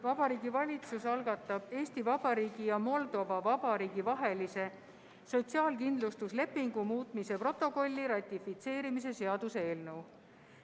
Vabariigi Valitsus algatab Eesti Vabariigi ja Moldova Vabariigi vahelise sotsiaalkindlustuslepingu muutmise protokolli ratifitseerimise seaduse eelnõu.